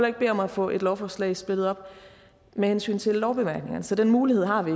ikke bede om at få et lovforslag splittet op med hensyn til lovbemærkningerne så den mulighed har vi